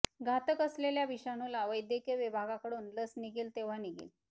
घातक असलेल्या विषाणूला वैद्यकीय विभागाकडून लस निघेल तेंव्हा निघेल